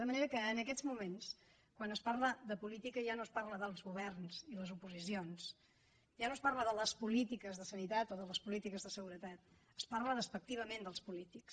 de manera que en aquests moments quan es parla de política ja no es parla dels governs i les oposicions ja no es parla de les polítiques de sanitat o de les polítiques de seguretat es parla despectivament dels polítics